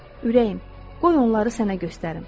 Ürəyim, qoy onları sənə göstərim.